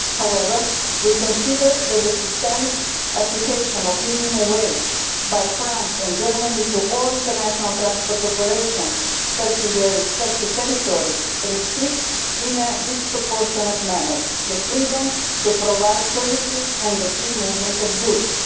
However, we consider that the systemic application of the minimum wage by France and Germany to all international transport operations touching their respective territories restricts in a disproportionate manner the freedom to provide services and the free movement of goods.